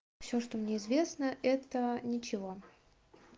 всё что мне известно это ничего